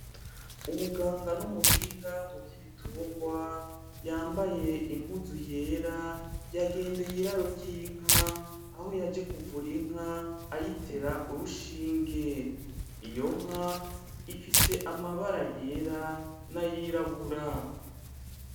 Umuganga n’umuhinga mu vy’ibitungwa yambaye impuzu yera yagendeye iraro ry’inka aho yaje kuvura inka ayitera urushinge .Iyo nka ifise amabara yera n’ayirabura.